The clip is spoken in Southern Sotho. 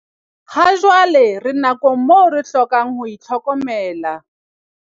Hajwale re nakong moo re hlokang ho itlhokomela.